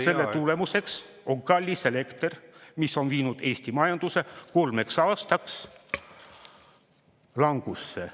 Selle tulemuseks on kallis elekter, mis on viinud Eesti majanduse kolmeks aastaks langusse.